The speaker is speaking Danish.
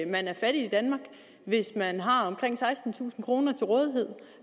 man er fattig i danmark hvis man har omkring sekstentusind kroner til rådighed